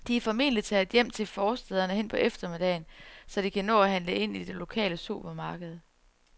De er formentlig taget hjem til forstæderne hen på eftermiddagen, så de kan nå at købe ind i det lokale supermarked.